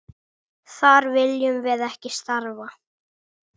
Þar viljum við ekki starfa.